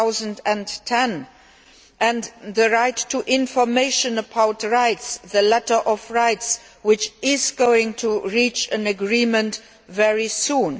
2010. Secondly the right to information about rights the letter of rights which is going to reach an agreement very soon.